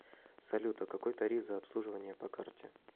салют а какой тариф за обслуживание по карте